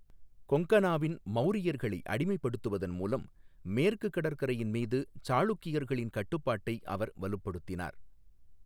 கொங்கனாவின் மௌரியர்களை அடிமைப்படுத்துவதன் மூலம் மேற்கு கடற்கரையின் மீது சாளுக்கியர்களின் கட்டுப்பாட்டை அவர் வலுப்படுத்தினார்.